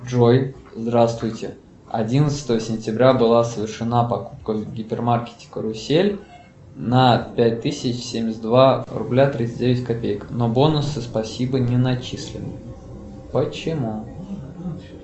джой здравствуйте одиннадцатого сентября была совершена покупка в гипермаркете карусель на пять тысяч семьдесят два рубля тридцать девять копеек но бонусы спасибо не начислены почему